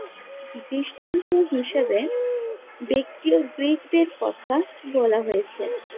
দৃষ্টান্ত হিসাবে ব্যক্তি ও গ্রিকদের কথা বলা হয়েছে।